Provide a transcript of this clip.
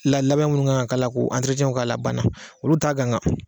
La labɛn minnu kan ka k'a la k'o k'a la a banna olu t'a ganga